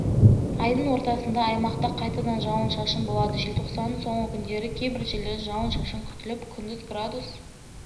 айдың ортасында аймақта қайтадан жауын-шашын болады желтоқсанның соңғы күндері кейбір жерлерде жауын-шашын күтіліп күндіз градус